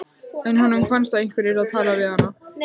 En honum fannst að einhver yrði að tala við hana.